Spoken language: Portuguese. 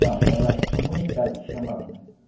Não, era comunidade que se chamava, né?